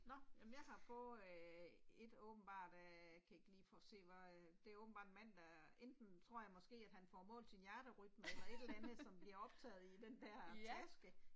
Nåh, jamen jeg har fået øh ét åbenbart øh jeg kan ikke lige få se hvad øh det er åbenbart en mand der enten tror jeg måske at han får målt sin hjerterytme eller et eller andet som bliver optaget i den der taske